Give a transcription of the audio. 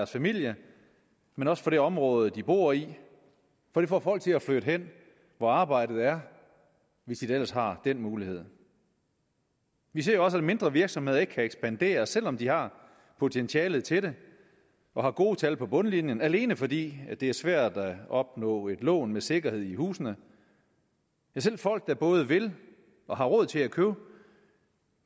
familie men også for det område de bor i for det får folk til at flytte hen hvor arbejdet er hvis de da ellers har den mulighed vi ser også at mindre virksomheder ikke kan ekspandere selv om de har potentialet til det og har gode tal på bundlinjen alene fordi det er svært at opnå et lån med sikkerhed i huset selv folk der både vil og har råd til at købe